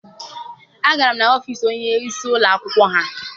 Agara m n'ọfiisi onye isi ụlọ akwụkwọ ha.